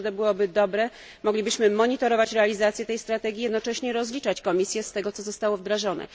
Myślę, że to byłoby dobre. Moglibyśmy monitorować realizację tej strategii i jednocześnie rozliczać Komisję z tego, co zostało wdrożone.